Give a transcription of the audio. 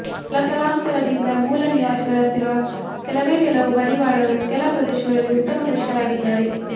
ತಲಾತಲಾಂತರದಿಂದ ಮೂಲ ನಿವಾಸಿಗಳಂತಿರುವ ಕೆಲವೇ ಕೆಲವು ಮಡಿವಾಳರು ಕೆಲ ಪ್ರದೇಶಗಳಲ್ಲಿ ಉತ್ತಮ ಕೃಷಿಕರಾಗಿದ್ದಾರೆ